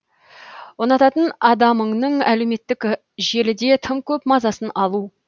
ұнататын адамыңның әлеуметтік желіде тым көп мазасын алу